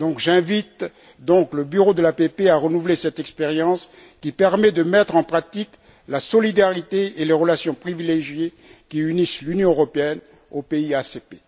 J'invite donc le Bureau de l'APP à renouveler cette expérience qui permet de mettre en pratique la solidarité et les relations privilégiées qui unissent l'Union européenne aux pays ACP.